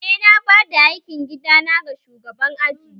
Eh, na bada aikin gida na ga shugaban aji